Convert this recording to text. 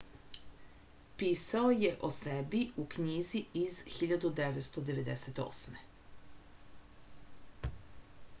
pisao je o sebi u knjizi iz 1998